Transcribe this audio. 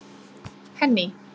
Henný